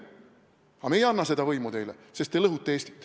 Aga me ei anna seda võimu teile, sest te lõhute Eestit.